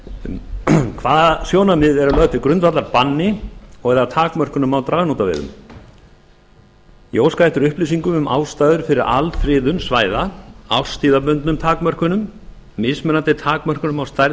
um hvaða sjónarmið eru lögð til grundvallar banni og eða takmörkunum á dragnótaveiðum ég óskaði eftir upplýsingum um ástæður fyrir alfriðun svæða árstíðabundnum takmörkunum mismunandi takmörkunum á stærð